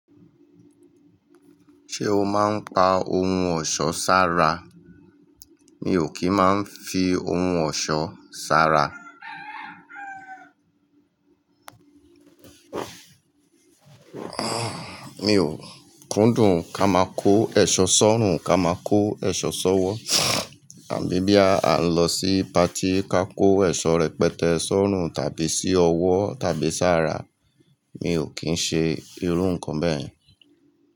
Ṣé o máa ń pa ohun ọ̀ṣọ́ sára? Mi ò kí ń máa ń fi ohun ọ̀ṣọ́ sára. Mi ò kúndùn ká máa kó èṣọ́ sọ́rùn, ká máa kó èṣọ́ sọ́wọ́ tàbí bí a ń lọ sí pàtí ká kó èṣọ́ rẹpẹtẹ sọ́rùn tàbí sí ọwọ́ tàbí sára, mi ò kí ń ṣe irú nǹkan bẹ́ẹ̀ yẹn.